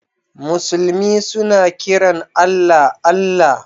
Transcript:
Musulmi suna kiran Allah, Allah.